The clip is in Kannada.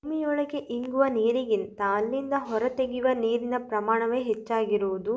ಭೂಮಿಯೊಳಗೆ ಇಂಗುವ ನೀರಿಗಿಂತ ಅಲ್ಲಿಂದ ಹೊರತೆಗೆಯುವ ನೀರಿನ ಪ್ರಮಾಣವೇ ಹೆಚ್ಚಾಗಿರುವುದು